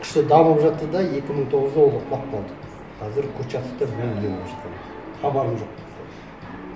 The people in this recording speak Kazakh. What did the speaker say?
күшті дамып жатты да екі мың тоғызда ол құлап қалды қазір курчатовта мүлдем ешқандай хабарым жоқ мысалы